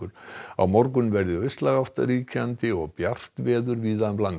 á morgun verður austlæg átt ríkjandi og bjart veður víða um land